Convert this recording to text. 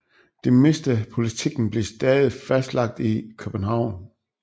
Det meste af politikken blev stadig fastlagt i København